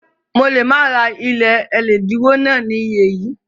Mo lè má ra ilé ẹlẹ́dínwó náà ní iyẹ yẹn